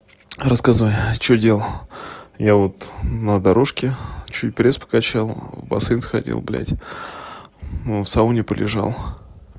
рассказывай что делал я вот на дорожке чуть пресс покачал в бассейн сходил блядь ну в сауне полежал